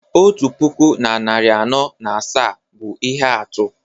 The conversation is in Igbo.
otu puku na narị anọ na asaa bụ ihe atụ